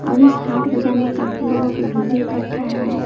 और इस हाट बाजार में काफी लोगों की भीड़ भी इकट्ठा है।